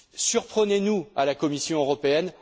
Surprenez nous à la Commission européenne!